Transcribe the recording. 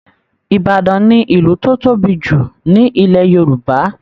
Ìbàdàn ni ìlú tó tóbi jù ní Ilẹ̀ Yorùbá